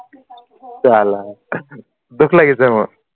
চালা দুখ লাগিছে মোৰ